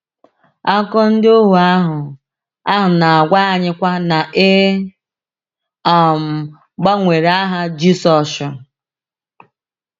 Akụkọ ndị ohuo ahụ ahụ na-agwa anyịkwa na e um gbanwere aha Jisọshụ.